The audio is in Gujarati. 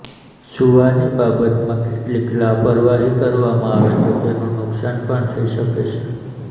સૂવાની બાબતમાં કેટલીક લાપરવાહી કરવામાં આવે તો તેનું નુકશાન પણ થઈ શકે છે